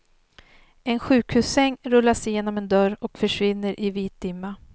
En sjukhussäng rullas genom en dörr och försvinner i vit dimma.